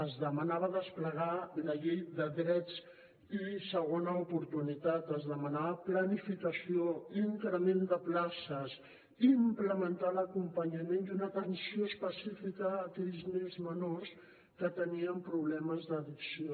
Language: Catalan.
es demanava desplegar la llei de drets i segona oportunitat es demanava planificació increment de places implementar l’acompanyament i una atenció específica a aquells nens menors que tenien problemes d’addicció